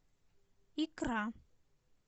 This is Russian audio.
икра